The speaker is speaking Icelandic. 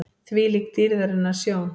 ÞVÍLÍK DÝRÐARINNAR SJÓN!